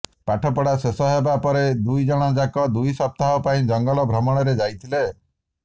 ପାଠ ପଢ଼ା ଶେଷ ହେବା ପରେ ଦୁଇ ଜଣ ଯାକ ଦୁଇ ସପ୍ତାହ ପାଇଁ ଜଙ୍ଗଲ ଭ୍ରମଣରେ ଯାଇଥିଲେ